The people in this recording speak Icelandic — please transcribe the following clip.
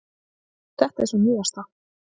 Þetta er sú nýjasta.